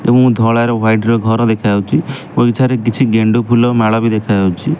ଏବଂ ଧଳାର ହ୍ୱାଇଟ ର ଘର ଦେଖାଯାଉଛି ବଗିଚାରେ କିଛି ଗେଣ୍ଡୁଫୁଲ ମାଳ ଦେଖାଯାଉଛି।